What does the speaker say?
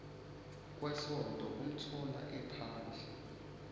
kwasonto umthola ephandle